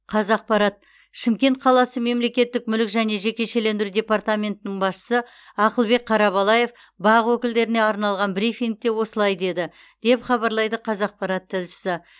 қазақпарат шымкент қаласы мемлекеттік мүлік және жекешелендіру департаментінің басшысы ақылбек қарабалаев бақ өкілдеріне арналған брифингте осылай деді деп хабарлайды қазақпарат тілшісі